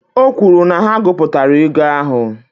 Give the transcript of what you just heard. O kwuru na ha gụpụtara ego ahụ